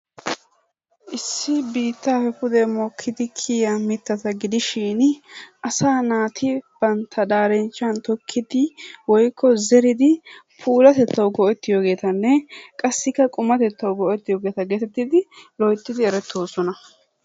Issi biittaappe pude mokkidi kiyaa mittatta gidishiin asaa naati bantta darinchchan tokkidi woykko zeridi puulatettawu go'ettiyogeetanne qassikka qummatettawu go'ettiyogeeta gettettidi loyttidi erettoosona.